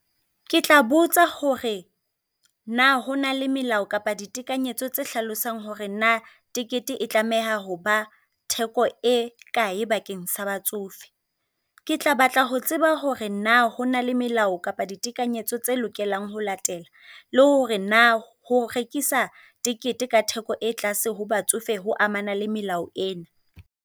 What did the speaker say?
Ke tla botsa hore na ho na le melao kapa ditekanyetso tsa hlalosang hore na tikete e tlameha ho ba theko e kae bakeng sa batsofe. Ke tla batla ho tseba hore na ho na le melao kapa ditekanyetso tse lokelang ho latela, le hore na ho rekisa tikete ka theko e tlase ho batsofe ho amana le melao ena.